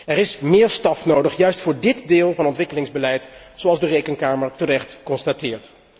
Er is meer personeel nodig, juist voor dit deel van het ontwikkelingsbeleid, zoals de Rekenkamer terecht constateert.